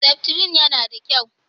Seftrin yana da kyau.